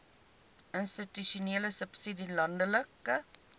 institusionele subsidie landelike